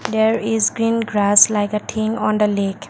there is green grass like a team on the lake.